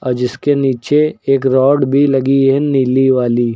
और जिसके नीचे एक रॉड भी लगी है नीली वाली।